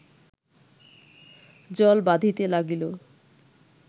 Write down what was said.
জল বাধিতে লাগিল